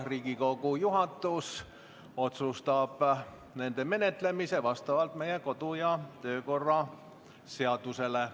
Riigikogu juhatus otsustab nende menetlemise vastavalt meie kodu- ja töökorra seadusele.